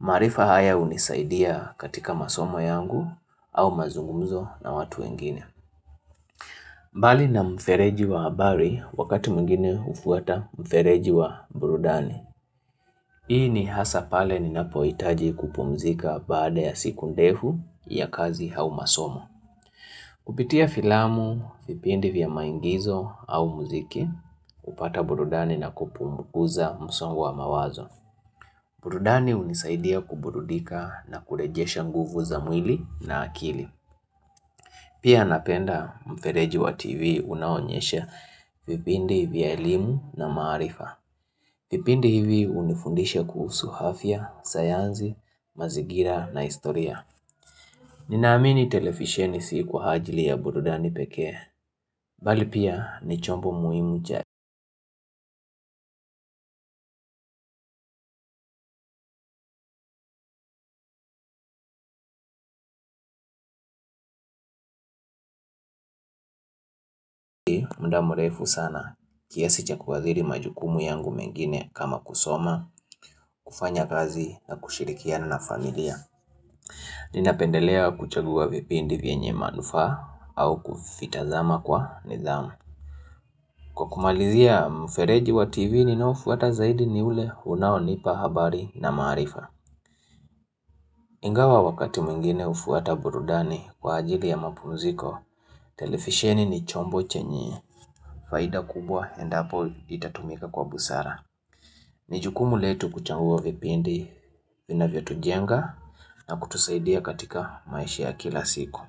Maarifa haya hunisaidia katika masomo yangu au mazungumzo na watu wengine. Mbali na mfereji wa habari wakati mwingine hufuata mfereji wa burudani. Hii ni hasa pale ninapohitaji kupumzika baada ya siku ndefu ya kazi au masomo. Kupitia filamu, vipindi vya maigizo au muziki, hupata burudani na kupunguza msongo wa mawazo. Burudani hunisaidia kuburudika na kurejesha nguvu za mwili na akili. Pia napenda mfereji wa TV unaoonyesha vipindi vya elimu na maarifa. Vipindi hivi hunifundishe kuhusu hafya, sayansi, mazingira na historia Ninaamini televisheni si kwa ajili ya burudani pekee Bali pia ni chombo muhimu cha muda mrefu sana kiasi cha kuadhiri majukumu yangu mengine kama kusoma kufanya kazi na kushirikiana na familia Ninapendelea kuchagua vipindi vyenye manufaa au kuvitazama kwa ndhamu Kwa kumalizia mfereji wa tv ninaofuata zaidi ni ule Unaonipa habari na maarifa Ingawa wakati mwingine hufuata burudani Kwa ajili ya mapumziko televisheni ni chombo chenye Faida kubwa endapo itatumika kwa busara Nijukumu letu kuchanua vipindi vinavyo tujenga na kutusaidia katika maisha kila siku.